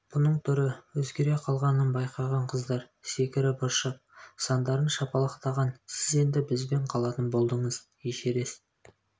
бұның түрі өзгер қалғанын байқаған қыздар секіріп-ыршып сандарын шапалақтаған сіз енді бізбен қалатын болдыңыз эшерест